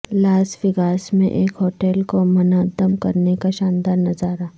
لاس Vegas میں ایک hotel کو منہدم کرنے کا شاندار نظارہ